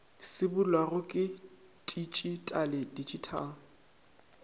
se bulwago ke titšitale digital